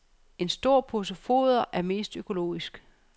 En stor pose foder er mest økonomisk.